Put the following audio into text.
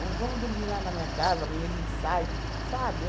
vamos dormir lá na minha casa, amanhã a gente sai que, sabe?